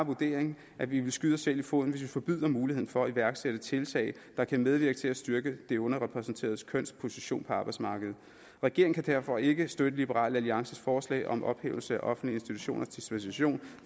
vurdering at vi vil skyde os selv i foden hvis vi forbyder muligheden for at iværksætte tiltag der kan medvirke til at styrke det underrepræsenterede køns position på arbejdsmarkedet regeringen kan derfor ikke støtte liberal alliances forslag om en ophævelse af offentlige institutioners dispensation